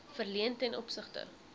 verleen ten opsigte